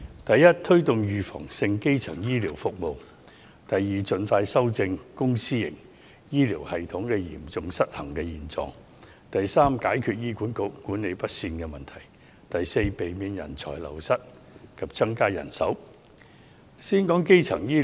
第一，推動預防性基層醫療服務；第二，盡快修正公私營醫療系統嚴重失衡的現狀；第三，解決醫院管理局管理不善的問題；第四，避免人才流失及增加人手。